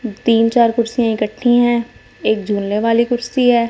तीन चार कुर्सियां इकट्ठी है एक झूलने वाली कुर्सी है।